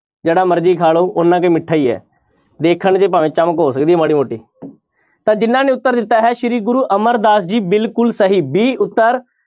ਜਿਹੜਾ ਮਰਜ਼ੀ ਖਾ ਲਓ ਮਿੱਠਾ ਹੀ ਹੈ ਦੇਖਣ 'ਚ ਭਾਵੇਂ ਚਮਕ ਹੋ ਸਕਦੀ ਹੈ ਮਾੜੀ ਮੋਟੀ ਤਾਂ ਜਿਹਨਾਂ ਨੇ ਉੱਤਰ ਦਿੱਤਾ ਹੈ ਸ੍ਰੀ ਗੁਰੂ ਅਮਰਦਾਸ ਜੀ ਬਿਲਕੁਲ ਸਹੀ b ਉੱਤਰ